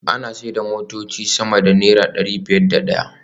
Ana sayar da motoci sama da naira dari biyar da daya